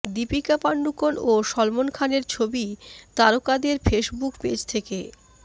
দীপিকা পাডুকোন ও সলমন খানের ছবি তারকাদের ফেসবুক পেজ থেকে